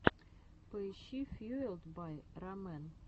поищи фьюэлд бай рамэн